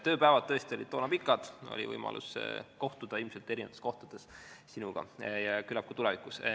Tööpäevad olid tõesti toona pikad, oli võimalus kohtuda sinuga ilmselt erinevates kohtades, ja küllap kohtume ka tulevikus.